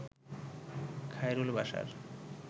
Khairul Bashar